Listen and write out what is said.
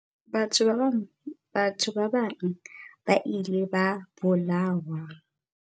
Batho ba bang ba ile ba bolawa.